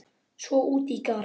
Svo út í garð.